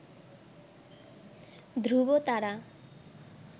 ধ্রুবতারা